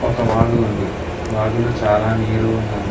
ఒక వాగు ఉంది వాగులో చాలా నీరు ఉన్నది.